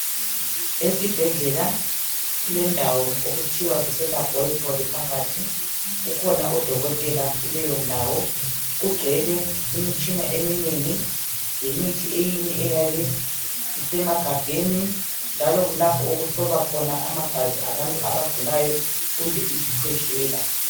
Esibhedlela kulendawo okuthiwa kuselabhorethori phakathi. Kukhona odokotela kuleyondawo. Kugcwele imitshina eminengi, lemithi eminye eyabe isemagabheni, njalo kulapho okuhlolwa khona amagazi abantu abagulayo kumbe isikhwehlela.